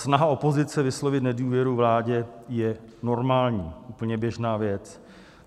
Snaha opozice vyslovit nedůvěru vládě je normální, úplně běžná věc.